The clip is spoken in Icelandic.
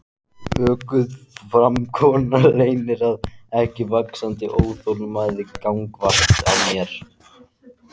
Öguð framkoma leynir ekki vaxandi óþolinmæði gagnvart mér.